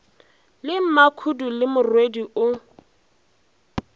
le makhudu le morwedi o